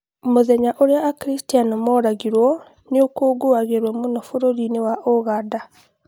Mũthenya ũrĩa akiristiano moragirwo nĩũkũngũyagĩrwo mũno bũrũri-inĩ wa ũganda